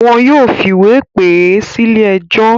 Wọn yóò fìwé pè é sílé ẹjọ́.